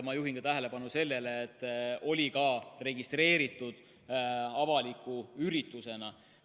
Ma juhin tähelepanu sellele, et see oli ka registreeritud avaliku üritusena.